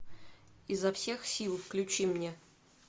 изо всех сил включи мне